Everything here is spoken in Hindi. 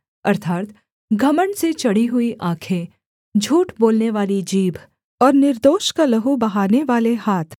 अर्थात् घमण्ड से चढ़ी हुई आँखें झूठ बोलनेवाली जीभ और निर्दोष का लहू बहानेवाले हाथ